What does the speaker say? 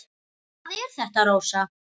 Hvað er þetta, Rósa?